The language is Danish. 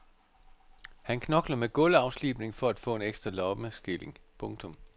Han knokler med gulvafslibning for at få en ekstra lommeskilling. punktum